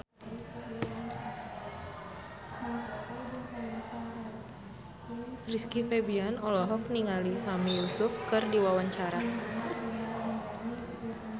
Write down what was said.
Rizky Febian olohok ningali Sami Yusuf keur diwawancara